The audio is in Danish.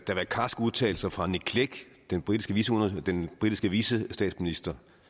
karske udtalelser fra nick clegg den britiske den britiske vicestatsminister